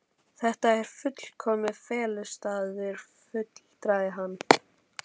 Þetta er fullkominn felustaður, fullyrti hann.